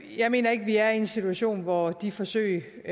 jeg mener ikke vi er i en situation hvor de forsøg